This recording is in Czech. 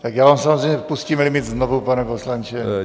Tak já vám samozřejmě pustím limit znovu, pane poslanče.